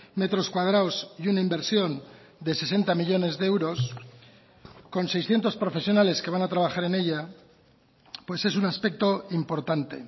metros cuadrados y una inversión de sesenta millónes de euros con seiscientos profesionales que van a trabajar en ella pues es un aspecto importante